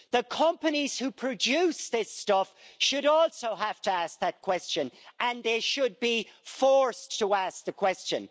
The companies who produce this stuff should also have to ask that question, and they should be forced to ask the question.